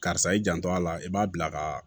Karisa i janto a la i b'a bila ka